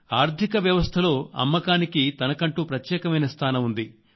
ఆర్థిక వ్యవస్థలో అమ్మకానికి తనకంటూ ప్రత్యేకమైన స్థానం ఉంది